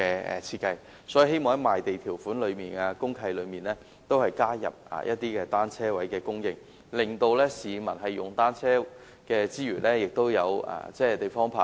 因此，我希望政府在賣地條款及公契內加入單車泊位的供應，令使用單車的市民有地方泊車。